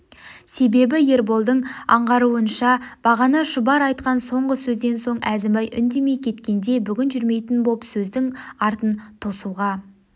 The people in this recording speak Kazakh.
себебі ерболдың аңғаруынша бағана шұбар айтқан соңғы сөзден соң әзімбай үндемей кеткенде бүгін жүрмейтін боп сөздің артын тосуға